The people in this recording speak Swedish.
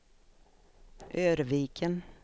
Örviken